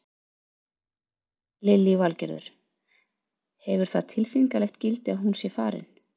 Lillý Valgerður: Hefur það tilfinningalegt gildi að hún sé farin?